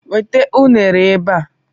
Weta unere ebe a!